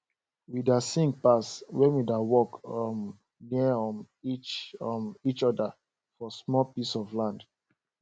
we da sing pass when we da work um near um each um each other for small piece of land